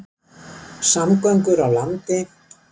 Samgöngur á landi